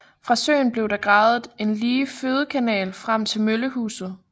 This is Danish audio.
Fra søen blev der gravet en lige fødekanal frem til møllehuset